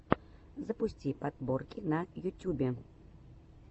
запусти подборки на ютюбе